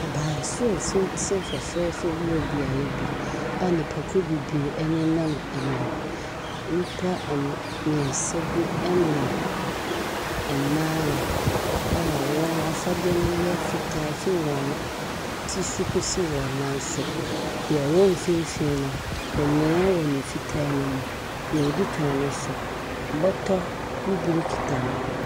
Abansoro tenten fɛfɛɛfɛ bi wɔ beae bi a nnipakuo bebree ɛnenam anim. Nnipa mmiɛnsa bi ɛnam. Mmaa a wɔn afadeɛ no yɛ fitaa fi wɔn ti so kosi wɔn nan so. Deɛ ɔwɔ mfimfini no, memem wɔ ne fitaa ne mu. Deɛ odi kan no nso bɔtɔ bibire kita no.